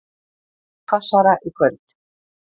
Hvassara í kvöld